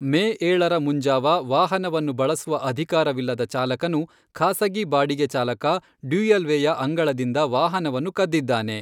ಮೇ ಏಳರ ಮುಂಜಾವ ವಾಹನವನ್ನು ಬಳಸುವ ಅಧಿಕಾರವಿಲ್ಲದ ಚಾಲಕನು ಖಾಸಗಿ ಬಾಡಿಗೆ ಚಾಲಕ ಡ್ಯುಯಲ್ವೇಯ ಅಂಗಳದಿಂದ ವಾಹನವನ್ನು ಕದ್ದಿದ್ದಾನೆ.